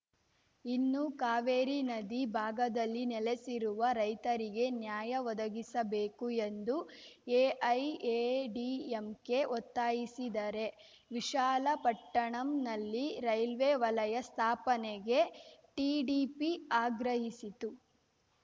ಇನ್ನು ಕಾವೇರಿ ನದಿ ಭಾಗದಲ್ಲಿ ನೆಲೆಸಿರುವ ರೈತರಿಗೆ ನ್ಯಾಯ ಒದಗಿಸಬೇಕು ಎಂದು ಎಐಎಡಿಎಂಕೆ ಒತ್ತಾಯಿಸಿದರೆ ವಿಶಾಲಪಟ್ಟಣಂನಲ್ಲಿ ರೈಲ್ವೆ ವಲಯ ಸ್ಥಾಪನೆಗೆ ಟಿಡಿಪಿ ಆಗ್ರಹಿಸಿತು